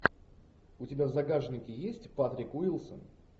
у тебя в загашнике есть патрик уилсон